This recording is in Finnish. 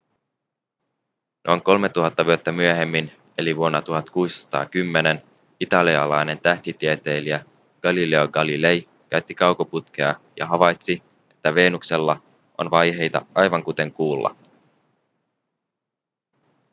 noin kolmetuhatta vuotta myöhemmin eli vuonna 1610 italialainen tähtitieteilijä galileo galilei käytti kaukoputkea ja havaitsi että venuksella on vaiheita aivan kuten kuulla